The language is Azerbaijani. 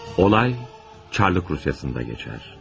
Olay Çarlıq Rusiyasında keçər.